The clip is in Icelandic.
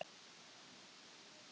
Var miltisbrandurinn búinn eða?